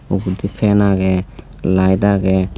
ugedi fan agey light agey.